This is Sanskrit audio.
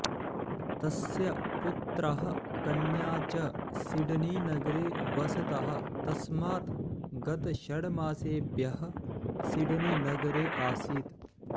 तस्य पुत्रः कन्या च सिडनीनगरे वसतः तस्मात् गतषड्मासेभ्यः सिडनीनगरे आसीत्